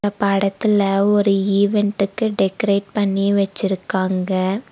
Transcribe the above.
படத்துல ஒரு ஈவண்டுக்கு டெக்கரேட் பண்ணி வச்சிருக்காங்க.